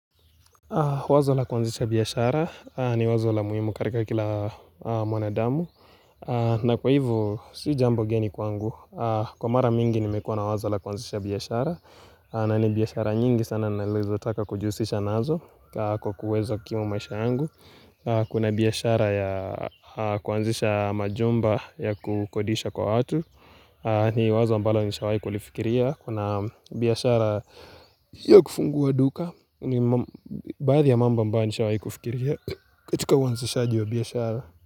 Wazo la kuanzisha biashara, ni wazo la muhimu katika kila mwanadamu, na kwa hivyo si jambo geni kwangu, kwa mara mingi nimekuwa na wazo la kuanzisha biashara, na ni biashara nyingi sana nalizo taka kujihusisha nazo kwa kuweza kukimu maisha yangu, Kuna biashara ya kuanzisha majumba ya kukodisha kwa watu, ni wazo ambalo nilishawai kulifikiria, kuna Biashara ya kufungua duka, ni baadhi ya mambo ambayo nishawahi kufikiria katika uanzishaji wa biashara.